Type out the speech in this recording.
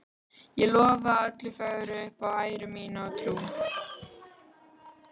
Og lofa öllu fögru upp á æru mína og trú.